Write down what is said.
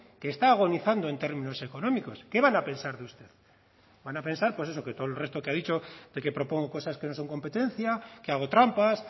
que está agonizando en términos económicos qué van a pensar de usted van a pensar pues eso que todo el resto que ha dicho de que propongo cosas que no son competencia que hago trampas